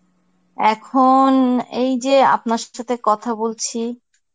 এখন এই যে আপনার সাথে কথা বলছি.